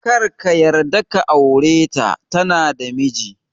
Karka yarda ka aure ta, tana da miji